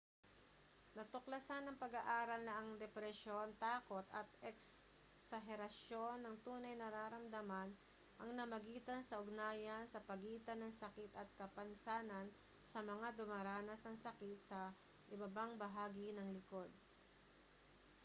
natuklasan ng pag-aaral na ang depresyon takot at eksaherasyon ng tunay na nararamdaman ang namagitan sa ugnayan sa pagitan ng sakit at kapansanan sa mga dumaranas ng sakit sa ibabang bahagi ng likod